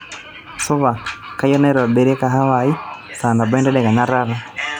supa keyieu neitobiri kahawa aai saa nabo entedekenya taata